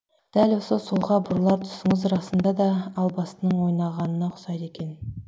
дәл осы солға бұрылар тұсыңыз расында да албастының ойнағанына ұқсайды екен